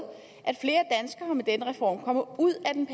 at flere danskere med den reform kommer ud af den